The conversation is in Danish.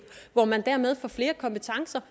hvor man dermed får flere kompetencer